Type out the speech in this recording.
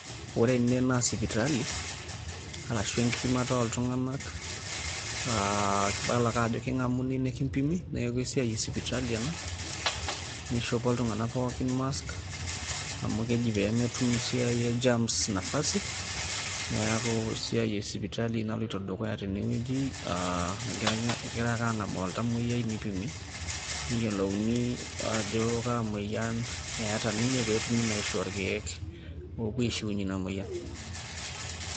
ore ene naa sipitali arashu enkipimata ooltunganak, aa idol ake ajo eking'amuni nikimpimi. neeku esiai esipitali ena, eishopo iltung'anak pookin mask amu keji pee metum esiai e germs nafasi, neeku esiai esipitali naloioto dukuya tene.aa egirae ake aang'amu oltamoyiai nipimi neyiolouni ajo kaa moyian eeta ninye pee etui naa aishoo irkeek oopuo aishiunyie ina moyian.